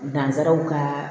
Nanzsaraw ka